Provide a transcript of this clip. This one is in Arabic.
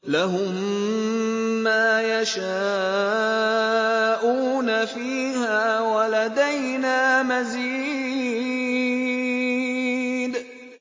لَهُم مَّا يَشَاءُونَ فِيهَا وَلَدَيْنَا مَزِيدٌ